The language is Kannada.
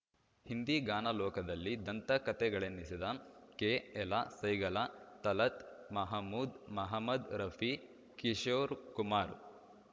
ಹಿಂದಿ ಗಾನಲೋಕದಲ್ಲಿ ದಂತಕತೆಗಳೆನಿಸಿದ ಕೆಎಲ ಸೈಗಲ ತಲತ್‌ ಮಹಮೂದ್‌ ಮಹಮದ್‌ ರಫಿ ಕಿಶೋರ್‌ಕುಮಾರ್‌